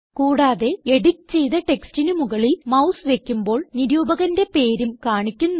കൂടാതെ എഡിറ്റ് ചെയ്ത ടെക്സ്റ്റിന് മുകളിൽ മൌസ് വയ്ക്കുമ്പോൾ നിരൂപകന്റെ പേരും കാണിക്കുന്നു